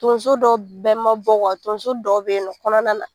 Tonzo dɔ bɛɛ ma bɔ tonzo dɔ beyinɔ nɔ kɔnɔna na.